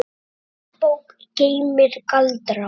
Góð bók geymir galdra.